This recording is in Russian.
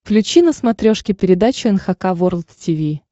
включи на смотрешке передачу эн эйч кей волд ти ви